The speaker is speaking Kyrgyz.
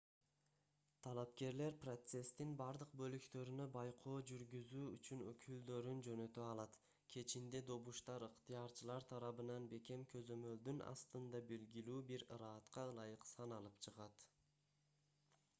талапкерлер процесстин бардык бөлүктөрүнө байкоо жүргүзүү үчүн өкүлдөрүн жөнөтө алат кечинде добуштар ыктыярчылар тарабынан бекем көзөмөлдүн астында белгилүү бир ыраатка ылайык саналып чыгат